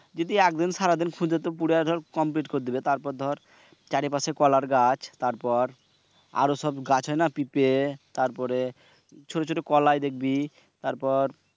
যদি একদিন সারাদিন খুরে দর complete করে দিবে। তারপর দর চারিপাশে কলার গাছ আরও সব গাছ হয়না পিপে তারপরে ছোট ছোট কলাই দেখবি তারপর